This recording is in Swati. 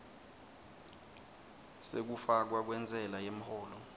sekufakwa kwentsela yemholo